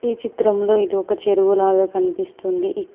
ఈ చిత్రంలో ఇది ఒక చెరువు లాగా కనిపిస్తుంది